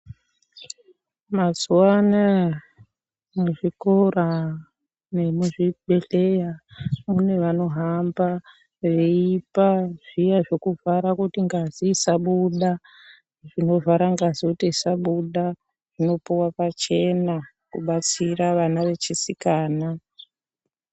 Mazuwa anaya, muzvikora, nemuzvibhedhleya mune vanohamba veipa zviya zvokuvhara kuti ngazi isabuda. Zvinovhara ngazi kuti isabuda, zvinopuwa pachena, kubatsira vana vechisikana .